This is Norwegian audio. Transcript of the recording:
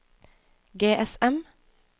GSM